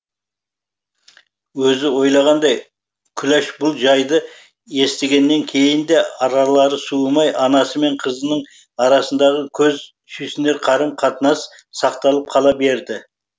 өзі ойлағандай күләш бұл жайды естігеннен кейін де аралары суымай анасы мен қызының арасындағы көз сүйсінер қарым қатынас сақталып қала берді